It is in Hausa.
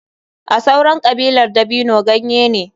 A sauran kabilar dabino ganye ne.